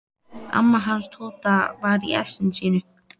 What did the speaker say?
Amma hans Tóta var í essinu sínu.